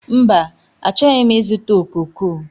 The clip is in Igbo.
Mba, achọghị m ịzụta okooko.